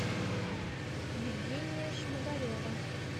евгения шмагарева